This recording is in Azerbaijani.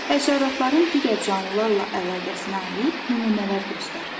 Həşəratların digər canlılarla əlaqəsinə aid nümunələr göstər.